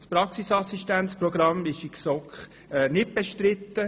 Das Praxisassistenzmodell ist in der GSoK nicht bestritten.